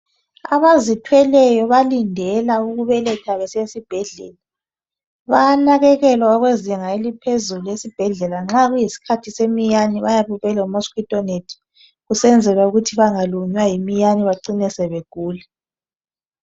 Abazithweleyo balindela ukubeletha besesibhedlela. Bayanakekelwa okwezinga eliphezulu esibhedlela nxa kuyisikhathi seminyane kuyabe kule mosquito net kusenzelwa ukuthi bangalunywa yiminyane bacine sebegula.